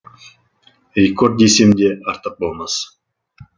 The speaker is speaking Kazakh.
рекорд десем де артық болмас